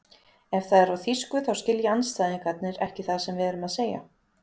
Ef það er á þýsku þá skilja andstæðingarnir ekki það sem við erum að segja.